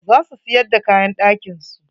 Za su siyar d kaayan ɗakin su.